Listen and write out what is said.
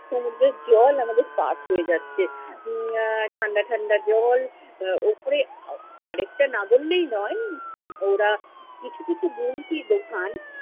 সমুদ্রের জল আমাদের পা ছুয়ে যাচ্ছে। উম আহ ঠান্ডা ঠাণ্ডা জল । আহ ওপরে আরেকটা না বললেই নয়, ওরা কিছু কিছু গোমতী দোকান